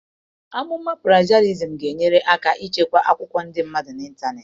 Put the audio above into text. Amụma plejiarịzim ga-enyere aka ichekwa akwụkwọ ndị mmadụ n'ịntanetị.